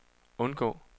undgå